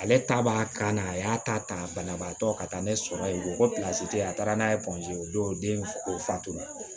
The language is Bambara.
Ale ta b'a kan na a y'a ta ta banabaatɔ ka taa ne sɔrɔ ye o ko tɛ yen a taara n'a ye o don den o fatu